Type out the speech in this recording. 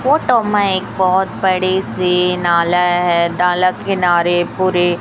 photo में एक बहुत बड़ी सी नाला है डाला किनारे पूरे--